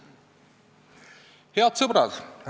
Head sõbrad!